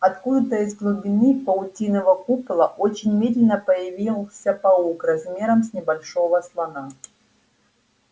откуда-то из глубины паутинного купола очень медленно появился паук размером с небольшого слона